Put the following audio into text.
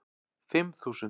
Fimm þúsund